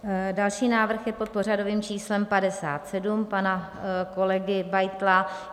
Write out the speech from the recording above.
Další návrh je pod pořadovým číslem 57 pana kolegy Beitla.